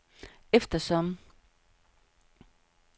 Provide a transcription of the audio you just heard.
eftersom